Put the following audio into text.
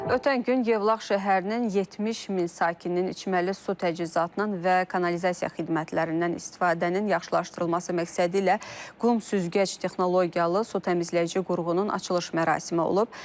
Ötən gün Yevlax şəhərinin 70 min sakininin içməli su təchizatının və kanalizasiya xidmətlərindən istifadənin yaxşılaşdırılması məqsədilə qum süzgəc texnologiyalı su təmizləyici qurğunun açılış mərasimi olub.